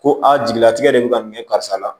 Ko a jigilatigɛ de bɛ ka ɲɛ karisa la